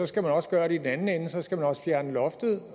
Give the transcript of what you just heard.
skal man også gøre det i den anden ende så skal man også fjerne loftet